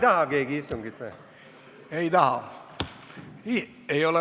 Kas keegi istungit pikendada ei taha?